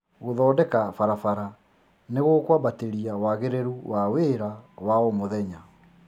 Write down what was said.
Gũthondeka barabara nĩgukwambatĩria wagĩrĩrũ wa wĩra wa o mũthenya